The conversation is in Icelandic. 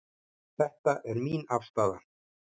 Þetta er mín afstaða.